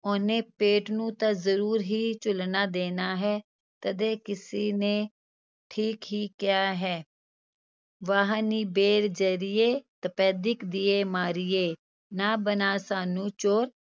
ਉਹਨੇ ਪੇਟ ਨੂੰ ਤਾਂ ਜ਼ਰੂਰ ਹੀ ਝੁਲਣਾ ਦੇਣਾ ਹੈ, ਤਦੇ ਕਿਸੇ ਨੇ ਠੀਕ ਹੀ ਕਿਹਾ ਹੈ ਵਾਹ ਨੀ ਤਪੈਦਿਕ ਦੀਏ ਮਾਰੀਏ, ਨਾ ਬਣਾ ਸਾਨੂੰ ਚੋਰ